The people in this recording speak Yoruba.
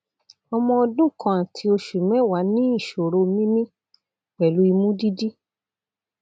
ọmọ ọdún kan àti oṣù mẹwàá ní ìṣòro mímí pẹlú imú dídí